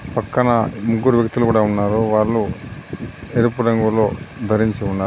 పక్కన ముగ్గురు వ్యక్తులు కూడా ఉన్నారు. వాళ్ళు ఎరుపు రంగులో ధరించి ఉన్నా--